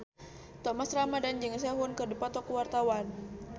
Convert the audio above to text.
Thomas Ramdhan jeung Sehun keur dipoto ku wartawan